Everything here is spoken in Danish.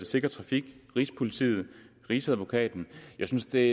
sikker trafik rigspolitiet rigsadvokaten jeg synes det